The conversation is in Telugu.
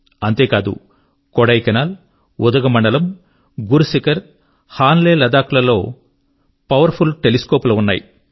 అంతే కాదు కొడైకెనాల్ ఉదగమండలం గురుశిఖర్ మరియు హాన్లే లదాఖ్ లలో కూడా పవర్ ఫుల్ టెలిస్కోప్ లు ఉన్నాయి